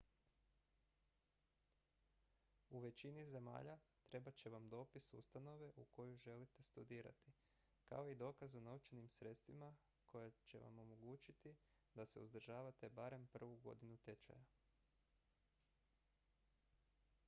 u većini zemalja trebat će vam dopis ustanove u kojoj želite studirati kao i dokaz o novčanim sredstvima koja će vam omogućiti da se uzdržavate barem prvu godinu tečaja